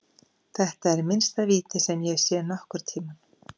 Þetta er minnsta víti sem ég hef séð nokkurntímann.